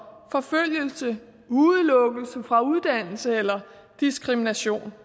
forfølgelse udelukkelse fra uddannelse eller diskrimination